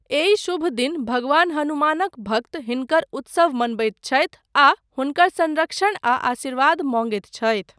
एहि शुभ दिन भगवान हनुमानक भक्त हिनकर उत्सव मनबैत छथि आ हुनकर संरक्षण आ आशीर्वाद मँगैत छथि।